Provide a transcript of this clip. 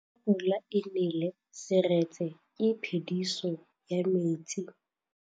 Fa pula e nelê serêtsê ke phêdisô ya metsi.